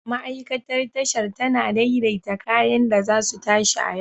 Ma'aikatar Tashar tana daidaita kayan da za su tashi a yau.